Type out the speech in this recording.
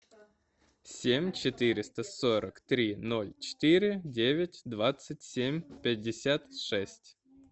семь четыреста сорок три ноль четыре девять двадцать семь пятьдесят шесть